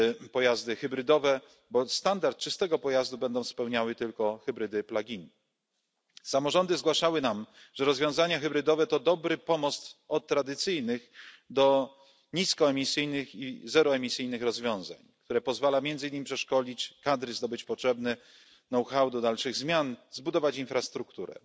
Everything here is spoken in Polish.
pojazdy hybrydowe, bo standard czystego pojazdu będą spełniały tylko hybrydy plug in Samorządy zgłaszały nam, że rozwiązania hybrydowe to dobry pomost od tradycyjnych do niskoemisyjnych i zeroemisyjnych rozwiązań, który pozwala między innymi przeszkolić kadry, zdobyć potrzebne know how do dalszych zmian, zbudować infrastrukturę.